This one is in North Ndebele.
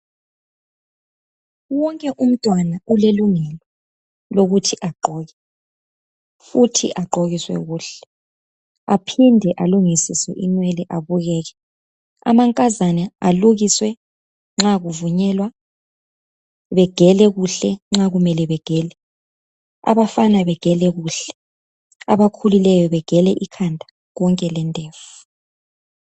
Wonke umntwana ulelungelo lokuthi agqoke futhi agqokiswe kuhle aphinde alungisiswe inwele abukeke amankazana alukiswe nxa kuvunyelwa begele kuhle nxa kumele begele abafana bagele kuhle abakhulileyo begele ikhanda konke lendevu.